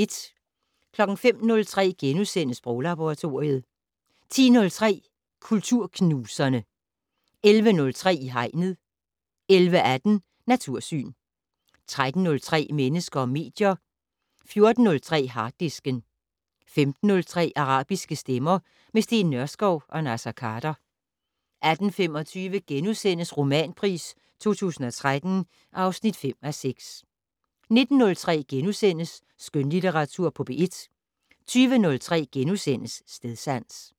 05:03: Sproglaboratoriet * 10:03: Kulturknuserne 11:03: I Hegnet 11:18: Natursyn 13:03: Mennesker og medier 14:03: Harddisken 15:03: Arabiske stemmer - med Steen Nørskov og Naser Khader 18:25: Romanpris 2013 (5:6)* 19:03: Skønlitteratur på P1 * 20:03: Stedsans *